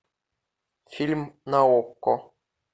фильм на окко